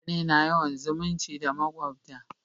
mutane na yawan zumunci da makwabta